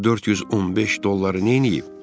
Görəsən bu 415 dolları neyniyib?